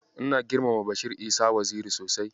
Ina girmama Bashir Isa Waziri sosai.